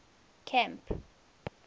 camp